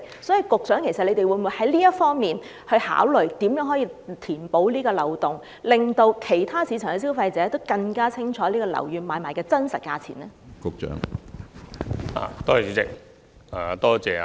所以，局長會否就這方面考慮如何能夠填補有關漏洞，令市場上其他消費者更清楚知道樓宇買賣的真實價錢呢？